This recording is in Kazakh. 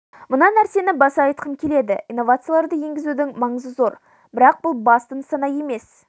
мына нәрсені баса айтқым келеді инновацияларды енгізудің маңызы зор бірақ бұл басты нысана емес